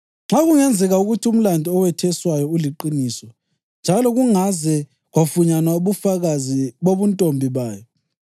Nxa kungenzeka ukuthi umlandu ewetheswayo uliqiniso njalo kungaze kwafunyanwa ubufakazi bobuntombi bayo,